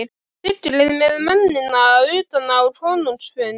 Siglið með mennina utan á konungs fund.